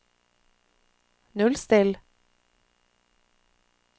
nullstill